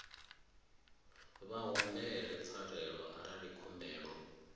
vha humbele pfarelo arali khumbelo